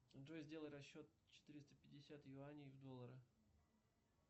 джой сделай расчет четыреста пятьдесят юаней в доллары